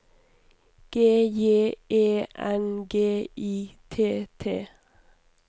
G J E N G I T T